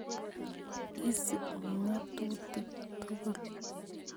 Isup ng'atutik tukul